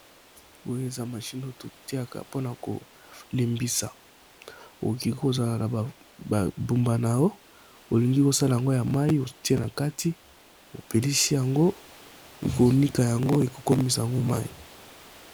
Oyo eza mashine oto tiaka mpona kolimbisa okoki kozala na babumbanao olingi kosala yangwo ya mai otie na kati opelisi yango ekonika yango ekokomisa yango mai.